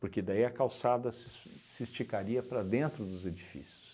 Porque daí a calçada se es se esticaria para dentro dos edifícios.